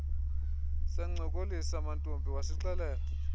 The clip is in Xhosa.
sancokolisa mantombi wasixelela